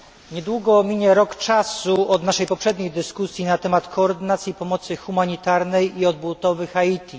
Niedługo minie rok czasu od naszej poprzedniej dyskusji na temat koordynacji pomocy humanitarnej i odbudowy Haiti.